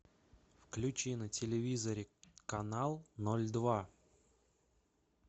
включи на телевизоре канал ноль два